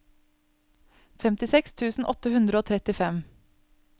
femtiseks tusen åtte hundre og trettifem